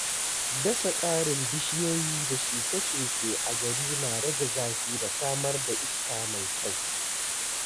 Dasa ƙarin bishiyoyi da shuke-shuke a gari na rage zafi da samar da iska mai kyau.